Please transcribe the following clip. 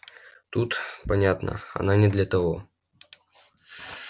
тут понятно она не для того